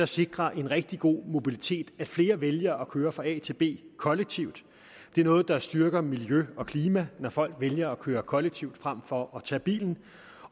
sikrer en rigtig god mobilitet at flere vælger at køre fra a til b kollektivt det er noget der styrker miljø og klima når folk vælger at køre kollektivt frem for at tage bilen